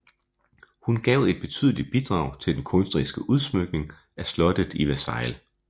Han gav et betydeligt bidrag til den kunstneriske udsmyking af slottet i Versailles